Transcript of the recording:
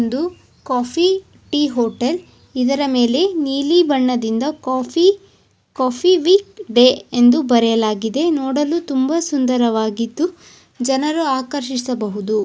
ಇದು coffee tea hotel ಇದರ ಮೇಲೆ ನೀಲಿ ಬಣ್ಣದಿಂದ ಕಾಫಿ ವಿಥ್ ಕಾಫಿ ಡೇ ಎಂದು ಬರೆಯಲಾಗಿದೆ ನೋಡಲು ತುಂಬಾ ಸುಂದರವಾಗಿದ್ದು ಜನರು ಆಕರ್ಷಿಸಬಹುದು.